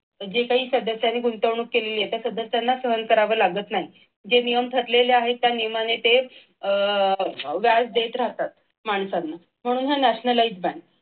जे काही त्यांनी गुंतवणूक केलेली आहे ती सध्या त्यांना सहन करावं लागत नाही जे नियम ठरलेले आहेत त्या नियमाने ते व्याज देत राहतात माणसांना म्हणून nationalize बँक